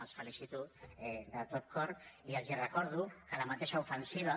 els felicito de tot cor i els recordo que la mateixa ofensiva